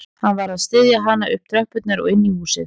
Hann varð að styðja hana upp tröppurnar og inn í húsið